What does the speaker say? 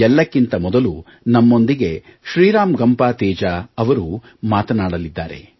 ಎಲ್ಲಕ್ಕಿಂತ ಮೊದಲು ನಮ್ಮೊಂದಿಗೆ ಶ್ರೀ ರಾಮ್ ಗಂಪಾ ತೇಜಾ ಅವರು ಮಾತನಾಡಲಿದ್ದಾರೆ